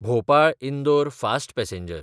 भोपाळ–इंदोर fast passenger